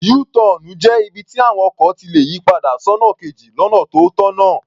Yú-tọọ̀nù jẹ́ ibi tí àwọn ọkọ̀ ti lè yì padà sọ́nà kejì lọ́nà tó tọ̀nà.